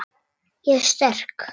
Ég er sterk.